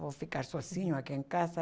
Vou ficar sozinho aqui em casa?